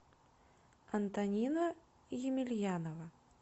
антонина емельянова